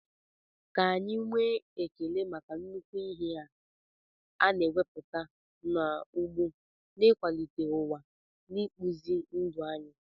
Ka anyị nwee ekele maka nnukwu ihe a na-emepụta n'ugbo n'ịkwalite ụwa na ịkpụzi ndụ anyị.